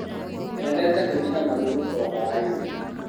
Mendete gũthĩi na magũrũ o hwainĩ.